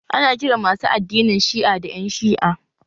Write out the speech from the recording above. Ana kiran masu addinin Shi'a da ƴan Shi'a